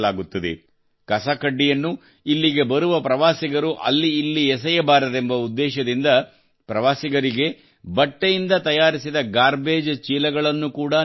ಕಸಕಡ್ಡಿಯನ್ನು ಇಲ್ಲಿಗೆ ಬರುವ ಪ್ರವಾಸಿಗರು ಅಲ್ಲಿ ಇಲ್ಲಿ ಎಸೆಯಬಾರದೆಂಬ ಉದ್ದೇಶದಿಂದ ಪ್ರವಾಸಿಗರಿಗೆ ಬಟ್ಟೆಯಿಂದ ತಯಾರಿಸಿದ ಗಾರ್ಬೇಜ್ ಚೀಲಗಳನ್ನು ಕೂಡಾ ನೀಡಲಾಗುತ್ತದೆ